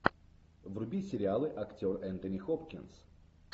вруби сериалы актер энтони хопкинс